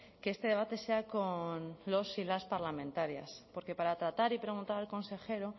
que este debate sea con los y las parlamentarias porque para tratar y preguntar al consejero